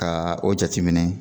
Ka o jateminɛ